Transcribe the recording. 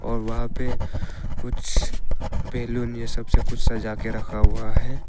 और वहां पे कुछ बैलून ये सब से कुछ सजा के रखा हुआ है।